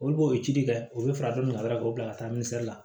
Olu b'o ci de kɛ u be fara ɲɔgɔn kan dɔrɔn k'o bila ka taa la